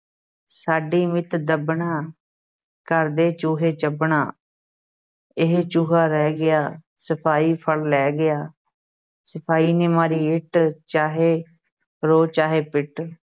ਸਾਡੀ ਮਿੱਤ ਦੱਬਣਾ ਘਰ ਦੇ ਚੂਹੇ ਚੱਬਣਾ ਇਹ ਚੂਹਾ ਰਹਿ ਗਿਆ ਸਿਪਾਹੀ ਫੜ ਲੈ ਗਿਆ ਸਿਪਾਹੀ ਨੇ ਮਾਰੀ ਇੱਟ ਚਾਹੇ ਰੋ ਚਾਹੇ ਪਿੱਟ।